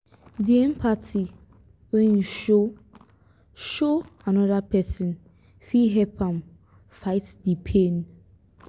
di empathy wey you show show anoda pesin fit help am fight di pain.